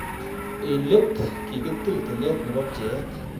En let, kikitil tilet nebo pcheet.